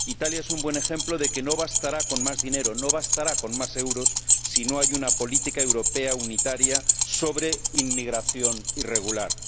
Italia es un buen ejemplo de que no bastará con más dinero, no bastará con más euros, si no hay una política europea unitaria sobre inmigración irregular.